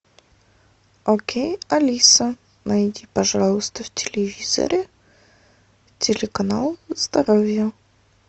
окей алиса найди пожалуйста в телевизоре телеканал здоровье